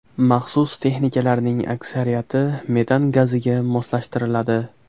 Maxsus texnikalarning aksariyati metan gaziga moslashtiriladi.